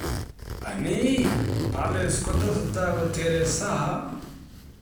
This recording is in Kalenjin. Anii Palace kotesetai kotere Zaha?